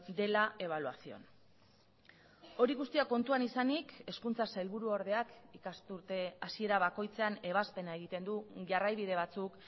de la evaluación hori guztia kontuan izanik hezkuntza sailburuordeak ikasturte hasiera bakoitzean ebazpena egiten du jarraibide batzuk